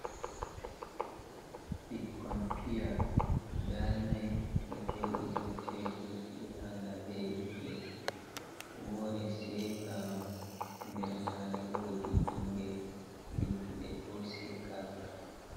Bikkon piya guda nai, ɗo joɗi dou tebur, firanga be ledde, wore sekama nɗer mare wodi ɓingel luttuɗe bo sekaka.